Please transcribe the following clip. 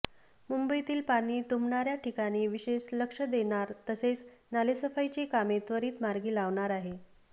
मुंबईतील पाणी तुंबणाऱ्या ठिकाणी विशेष लक्ष देणार तसेच नालेसफाईची कामे त्वरित मार्गी लावणार आहे